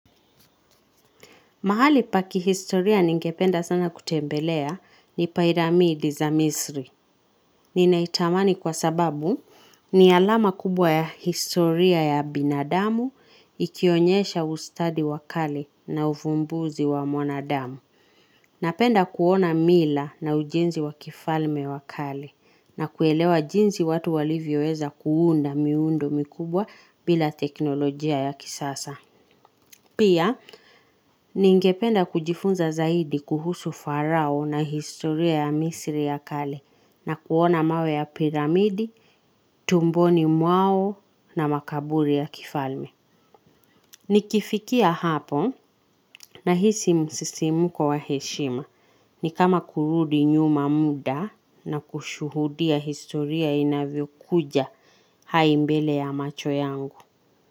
Mahali pakihistoria ningependa sana kutembelea ni pairamidi za misri. Ninaitamani kwa sababu ni alama kubwa ya historia ya binadamu ikionyesha ustadi wakale na ufumbuzi wa mwanadamu. Napenda kuona mila na ujinzi wa kifalme wakale na kuelewa jinzi watu walivyo eza kuunda miundo mikubwa bila teknolojia ya kisasa. Pia, ningependa kujifunza zaidi kuhusu farao na historia ya misiri ya kale na kuona mawe ya piramidi, tumboni mwao na makaburi ya kifalme. Nikifikia hapo na hisi msisimuko wa heshima ni kama kurudi nyuma muda na kushuhudia historia inavyo kuja hai mbele ya macho yangu.